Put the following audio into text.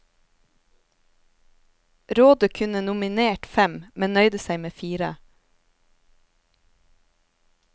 Rådet kunne nominert fem, men nøyde seg med fire.